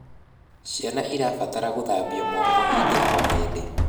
Ciana irabatara guthambia moko hĩndĩ o hĩndĩ